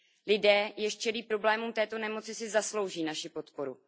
Lidé, jež čelí problémům této nemoci, si zaslouží naši podporu.